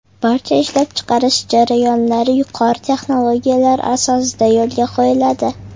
Barcha ishlab chiqarish jarayonlari yuqori texnologiyalar asosida yo‘lga qo‘yiladi.